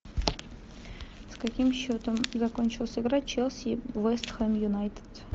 с каким счетом закончилась игра челси вест хэм юнайтед